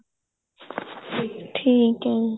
ਠੀਕ ਏ ਠੀਕ ਏ